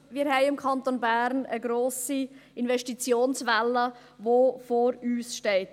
Wir haben hier im Kanton Bern eine grosse Investitionswelle, welche vor uns steht.